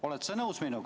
Oled sa minuga nõus?